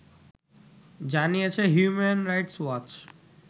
জানিয়েছে human rights watch